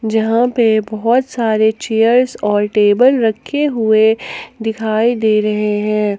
यहां पे बहुत सारे चेयर्स और टेबल रखे हुए दिखाई दे रहे हैं।